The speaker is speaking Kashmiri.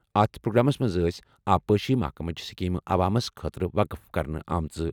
اتھ پروگرامس منٛز ٲسۍ آبپاشی محکمٕچ سکیمہٕ عوامس خٲطرٕ وقف کرنہٕ آمژٕ۔